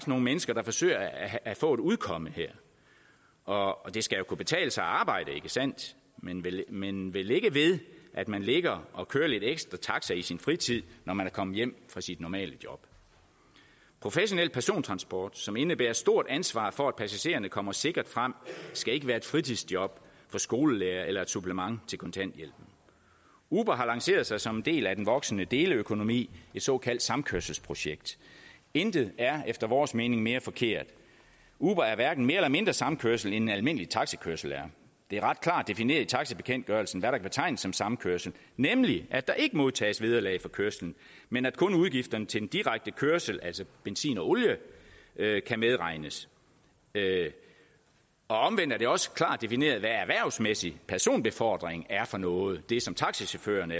nogle mennesker der forsøger at få et udkomme her og det skal kunne betale sig at arbejde ikke sandt men men vel ikke ved at man ligger og kører lidt ekstra taxa i sin fritid når man er kommet hjem fra sit normale job professionel persontransport som indebærer et stort ansvar for at passagererne kommer sikkert frem skal ikke være et fritidsjob for skolelærere eller et supplement til kontanthjælpen uber har lanceret sig som en del af den voksende deleøkonomi et såkaldt samkørselsprojekt intet er efter vores mening mere forkert uber er hverken mere eller mindre samkørsel end almindelig taxakørsel er det er ret klart defineret i taxabekendtgørelsen hvad der kan betegnes som samkørsel nemlig at der ikke modtages vederlag for kørslen men at kun udgifterne til den direkte kørsel altså benzin og olie kan medregnes omvendt er det også klart defineret hvad erhvervsmæssig personbefordring er for noget altså det som taxachaufførerne